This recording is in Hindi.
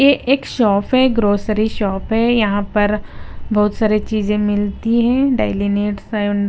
ये एक शॉप है ग्रोसरी शॉप है यहाँ पर बहुत सारी चीजें मिलती हैं डेली नीड्स एंड .